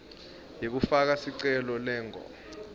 yekufaka sicelo lengur